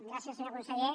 gràcies senyor conseller